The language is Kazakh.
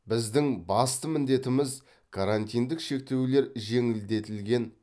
біздің басты міндетіміз карантиндік шектеулер жеңілдетілген